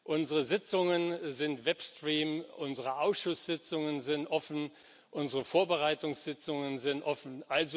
Unsere Sitzungen werden im Web gestreamt, unsere Ausschusssitzungen sind offen, unsere Vorbereitungssitzungen sind offen.